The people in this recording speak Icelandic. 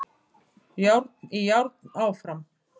Járn í járn áfram